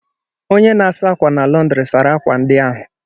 Onye na-asa akwa na lọndri sara akwa ndi ahụ.